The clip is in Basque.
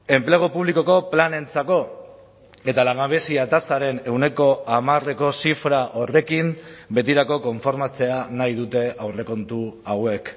enplegu publikoko planentzako eta langabezia tasaren ehuneko hamareko zifra horrekin betirako konformatzea nahi dute aurrekontu hauek